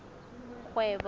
kgwebo